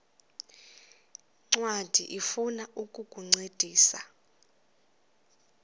ncwadi ifuna ukukuncedisa